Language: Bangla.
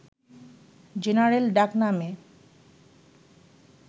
জেনারেল ডাকনামে